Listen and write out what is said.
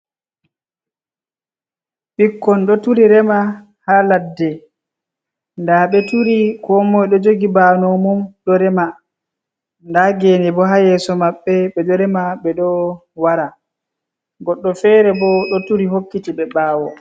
Ɓikkon ɗo turi rema ha ladde, nda ɓe turi ko moi ɗo jogi banow mum ɗo rema, nda gene bo ha yeso maɓɓe ɓe ɗo rema, ɓe ɗo wara goɗɗo fere ɓo ɗo turi hokkiti ɓe ɓawo.